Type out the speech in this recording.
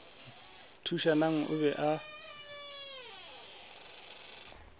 thušanang o be a ba